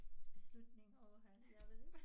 Beslutning åha jeg ved ikke